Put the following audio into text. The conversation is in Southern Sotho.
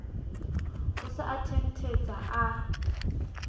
o se a thenthetsa a